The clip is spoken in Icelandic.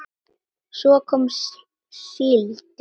Svo kom síldin.